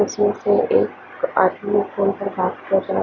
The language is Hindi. इसमें से एक आदमी फोन पर बात कर रहा--